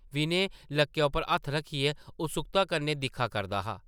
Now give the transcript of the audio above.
विनय लक्कै उप्पर हत्थ रक्खियै उत्सुक्ता कन्नै दिक्खा करदा हा ।